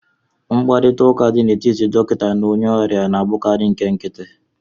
Mkparịta ụka dị n'etiti dọkịta na onye ọrịa na-abụkarị nke nkịtị